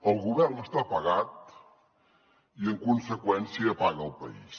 el govern està apagat i en conseqüència apaga el país